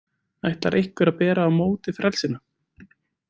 Ætlar einhver að bera á móti frelsinu?